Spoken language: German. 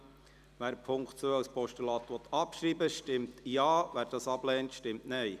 Wer den Punkt 2 als Postulat abschreiben will, stimmt Ja, wer dies ablehnt, stimmt Nein.